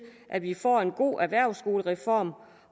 at vi får en god erhvervsskolereform